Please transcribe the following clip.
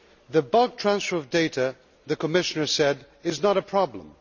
The bulk transfer of data, the Commissioner said, is not a problem.